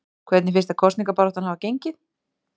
Hvernig finnst þér kosningabaráttan hafa gengið?